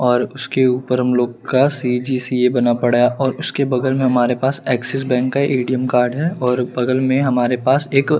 और उसके ऊपर हम लोग का बना पड़ा है और उसके बगल में हमारे पास एक्सिस बैंक का ए_टी_एम कार्ड है और बगल में हमारे पास एक--